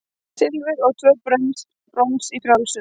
Silfur og tvö brons í frjálsum